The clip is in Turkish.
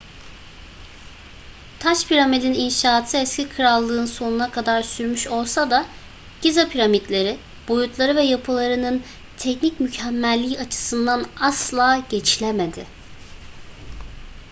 taş piramidin inşaatı eski krallık'ın sonuna kadar sürmüş olsa da giza piramitleri boyutları ve yapılarının teknik mükemmelliği açısından asla geçilemedi